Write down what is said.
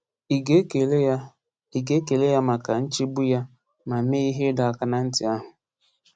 Ị ga-ekele ya Ị ga-ekele ya maka nchegbu ya ma mee ihe ịdọ aka na ntị ahụ?